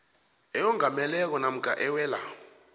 eyongameleko namkha ewela